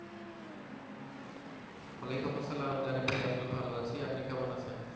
ওয়ালাইকুম আসসালাম জারিফ ভাই আমি ভালো আছি আপনি কেমন আছেন?